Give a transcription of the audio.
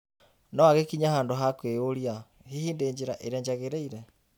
No agĩkinya handũ na kwĩĩyũria, "Hihi ndĩ njĩra ĩrĩa njagĩrĩire?"